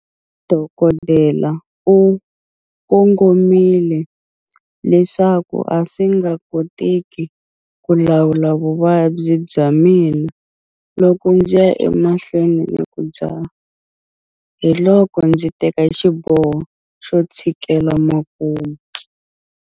Dokodela u kongomile leswaku a swi nga koteki ku lawula vuvabyi bya mina loko ndzi ya emahlweni ni ku dzaha. Hiloko ndzi teka xiboho xo tshikela makumu.